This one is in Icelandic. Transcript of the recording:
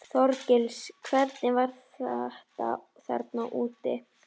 Þorgils: Hvernig var þetta þarna úti?